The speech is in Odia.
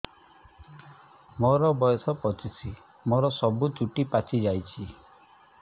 ମୋର ବୟସ ପଚିଶି ମୋର ସବୁ ଚୁଟି ପାଚି ଯାଇଛି